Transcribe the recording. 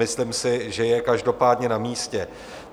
Myslím si, že je každopádně na místě.